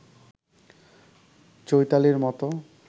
চৈতালির মতো